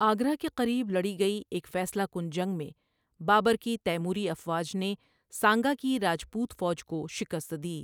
آگرہ کے قریب لڑی گئی ایک فیصلہ کن جنگ میں، بابر کی تیموری افواج نے سانگا کی راجپوت فوج کو شکست دی۔